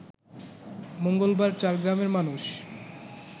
মঙ্গলবার চার গ্রামের মানুষ